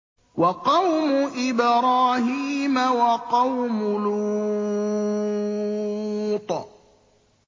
وَقَوْمُ إِبْرَاهِيمَ وَقَوْمُ لُوطٍ